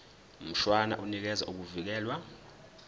mshwana unikeza ukuvikelwa